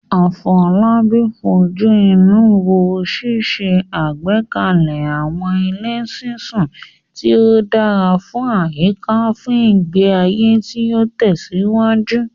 Afolabi fojú inú wo ṣíṣe àgbékalẹ̀ àwọn ilé ṣiṣu tí ó dára fún àyíká fún ìgbé ayé tí ó tẹ̀síwájú.